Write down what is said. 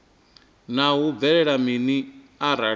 naa hu bvelela mini arali